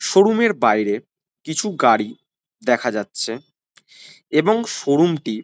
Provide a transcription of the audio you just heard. showroom -এর বাইরে কিছু গাড়ি দেখা যাচ্ছে এবং শোরুম -টি --